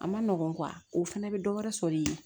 A ma nɔgɔ o fɛnɛ bɛ dɔ wɛrɛ sɔrɔ i ye